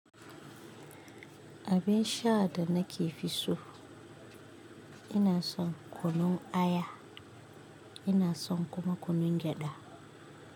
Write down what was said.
Abin sha da nake fi so, ina son kunun aya, ina son kuma kunun gyada.